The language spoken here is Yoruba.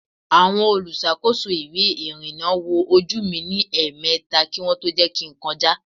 Àwọn olùṣàkóso ìwé ìrìnà wo ojú mi ní èèmeta kí wọn tó jẹ́ kin kọjá